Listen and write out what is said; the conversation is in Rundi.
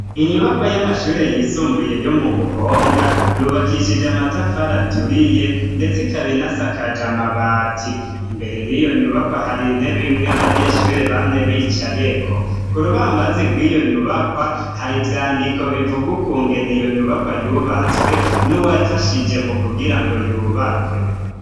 Inyubakwa y'amashuri yisumbuye yo mu Buhonga yubakishije amatafari aturiye ndetse ikaba inasakaje amabati, imbere yiyo nyubakwa hari intebe imwe abanyeshuri bamye bicayeko, ku rubambazi rwiyo nyubakwa hari ivyandiko bivuga ukungene iyo nyubakwa yubatswe nuwafashije mu kugirango yubakwe.